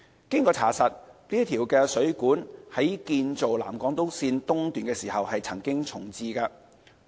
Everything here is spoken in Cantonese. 經查實，該水管在建造南港島線時曾經重置。